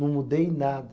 Não mudei nada.